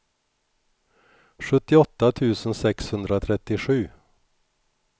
sjuttioåtta tusen sexhundratrettiosju